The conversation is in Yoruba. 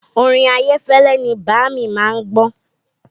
Orin Ayefele ni bàámi má ń gbọ́